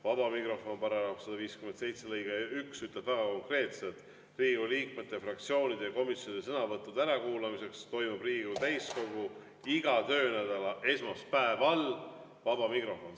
Vaba mikrofoni kohta on § 157 lõige 1, mis ütleb väga konkreetselt: "Riigikogu liikmete, fraktsioonide ja komisjonide sõnavõttude ärakuulamiseks toimub Riigikogu täiskogu iga töönädala esmaspäeval vaba mikrofon.